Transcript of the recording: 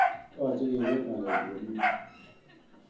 Yoche keker ngalechu komie.